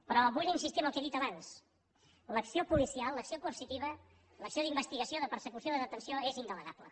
però vull insistir en el que he dit abans l’acció policial l’acció coercitiva l’acció d’investigació de persecució de detenció és indelegable